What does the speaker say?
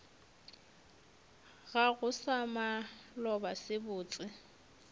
gago sa maloba se botse